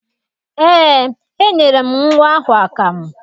Eé, enyere m nnwa ahụ akamụ.